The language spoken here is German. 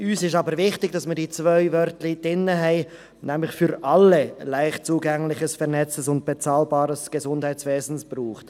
Uns ist jedoch wichtig, dass diese zwei Wörter drin stehen, nämlich dass es «für alle» ein leicht zugängliches, vernetztes und bezahlbares Gesundheitswesen braucht.